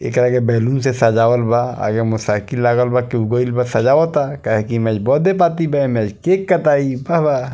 ऐकरा के बैलून्स से सजावल बा आगे से मोटरसाइकिल लगव बा केहू गइल बा सजवता कहे की बर्थडे पार्टी बा एमें बा बा।